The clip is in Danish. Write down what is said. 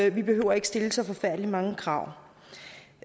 ikke behøver stille så forfærdelig mange krav